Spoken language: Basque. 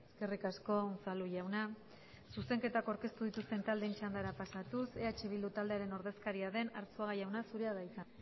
eskerrik asko unzalu jauna zuzenketak aurkeztu dituzten taldeen txandara pasatuz eh bildu taldearen ordezkaria den arzuaga jauna zurea da hitza